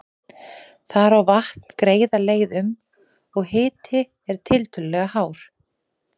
Þar á vatn greiða leið um, og hiti er tiltölulega hár.